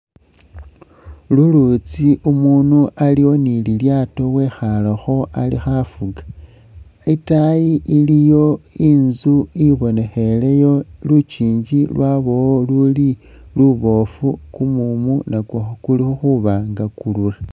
Lulutsi umunu aliwo ni lilyaato wekhaalekho ali khafuga, itaayi iliyo inzu ibonekheleyo lukiingi luliyo liboofu kumumu nakwo kuli khuba nga kurura.